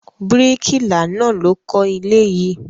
Bíríkìlà náà ló kọ́ ilé yìí.